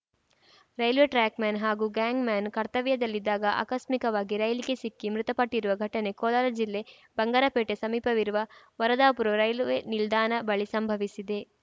railway trackman ಹಾಗೂ gangman ಕರ್ತವ್ಯದಲ್ಲಿದ್ದಾಗ ಆಕಸ್ಮಿಕವಾಗಿ ರೈಲಿಗೆ ಸಿಕ್ಕಿ ಮೃತಪಟ್ಟಿರುವ ಘಟನೆ ಕೋಲಾರ ಜಿಲ್ಲೆ ಬಂಗಾರಪೇಟೆ ಸಮೀಪವಿರುವ ವರದಾಪುರ ರೈಲ್ವೆ ನಿಲ್ದಾಣ ಬಳಿ ಸಂಭವಿಸಿದೆ